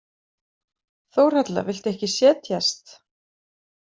Þórhalla, viltu ekki setjast?